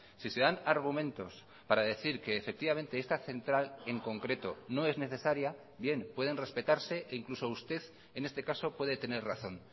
si se dan argumentos para decir que efectivamente esta central en concreto no es necesaria bien pueden respetarse e incluso usted en este caso puede tener razón